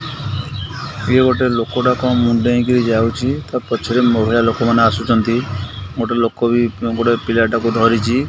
ଇଏ ଗୋଟେ ଲୋକଟେ କଣ ମୁଣ୍ଡେଇକିରି ଯାଉଚି ତା ପଛରେ ମହିଳା ଲୋକ ମାନେ ଆସୁଚନ୍ତି ଗୋଟେ ଲୋକ ବି ଗୋଟେ ପିଲାଟାକୁ ଧରିଛି।